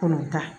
Kɔnɔntɔn